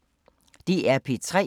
DR P3